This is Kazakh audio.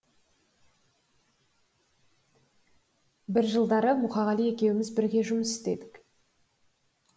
бір жылдары мұқағали екеуміз бірге жұмыс істедік